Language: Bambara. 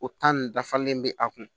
O in dafalen bɛ a kun